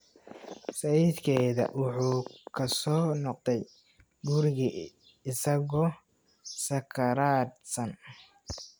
Sayidkeeda wuxuu ku soo noqday gurigii isagoo sakhraansan